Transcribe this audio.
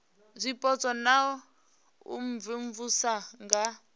zwipotso na u imvumvusa nga